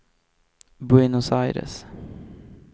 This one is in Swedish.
Buenos Aires